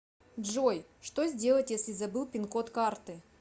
джой что сделать если забыл пин код карты